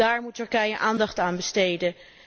Daar moet Turkije aandacht aan besteden.